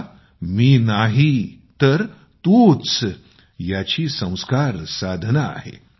हा तर मी नाही तर तू ही याची संस्कार साधना आहे